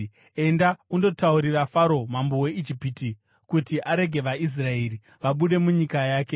“Enda undotaurira Faro mambo weIjipiti kuti arege vaIsraeri vabude munyika yake.”